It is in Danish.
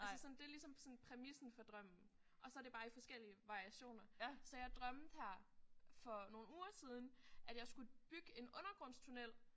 Altså sådan det er ligesom præmissen for drømmen og så er det bare i forskellige variationer. Så jeg drømte her for nogle uger siden at jeg skulle bygge en undergrundstunnel